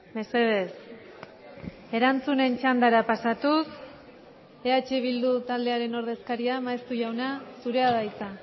mesedez erantzunen txandara pasatuz eh bildu taldearen ordezkaria maeztu jauna zurea da hitza